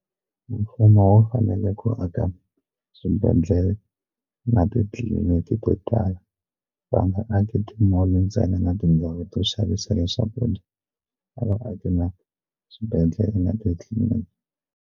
Mfumo wu fanele ku aka swibedhlele na titliliniki to tala va nga aki ti mall ntsena na tindhawu to xavisela swakudya a vaaki na swibedhlele na titliliniki.